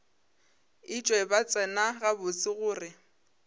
etšwe ba tseba gabotse gore